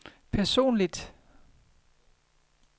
personligt